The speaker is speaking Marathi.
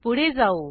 पुढे जाऊ